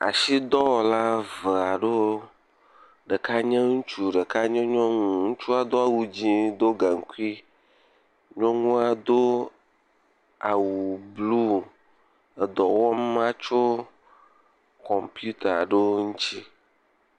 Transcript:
Asidɔwɔla eve aɖewo, ɖeka nye ŋutsu, ɖeka nye nyɔnu. Ŋutsu do awu dzɛ heɖo gankui. Nyɔnua do awu blu edɔ wɔm me tso kɔmpita aɖewo ŋuti.